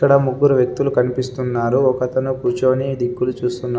ఇక్కడ ముగ్గురు వ్యక్తులు కనిపిస్తున్నారు. ఒకతను కూర్చొని దిక్కులు చూస్తున్నాడు.